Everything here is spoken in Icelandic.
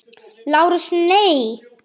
LÁRUS: Nei!